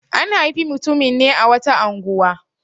An haifi mutumin ne a wata unguwa.